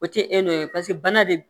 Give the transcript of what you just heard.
O tɛ e n'o ye pase bana de b